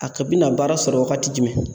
A ka bi na baara sɔrɔ wagati jumɛn